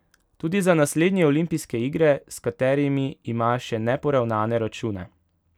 Tudi za naslednje olimpijske igre, s katerimi ima še neporavnane račune.